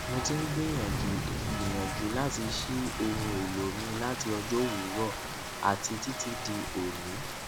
mo ti n gbiyanju gbiyanju lati ṣii ohun elo mi lati ọjọ owurọ ati titi di oni